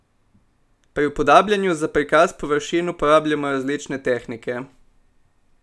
Pri upodabljanju za prikaz površin uporabljamo različne tehnike.